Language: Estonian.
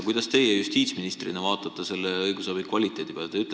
Kuidas te justiitsministrina vaatate sellise õigusabi kvaliteedi peale?